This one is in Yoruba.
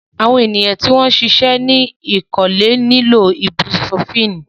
Awọn eniyan ti o ṣiṣẹ ni ikole nilo ibupurofínì